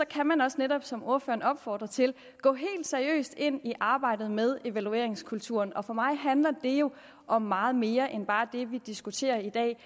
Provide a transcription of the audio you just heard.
kan man også netop som ordføreren opfordrer til gå helt seriøst ind i arbejdet med evalueringskulturen og for mig handler det jo om meget mere end bare det vi diskuterer i dag